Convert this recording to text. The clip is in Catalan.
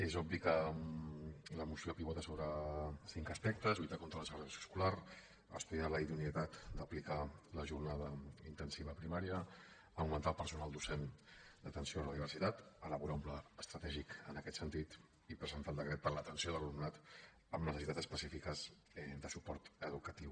és obvi que la moció pivota sobre cinc aspectes lluitar contra la segregació escolar estudiar la idoneïtat d’aplicar la jornada intensiva a primària augmentar el personal docent d’atenció a la diversitat elaborar un pla estratègic en aquest sentit i presentar el decret per a l’atenció de l’alumnat amb necessitats específiques de suport educatiu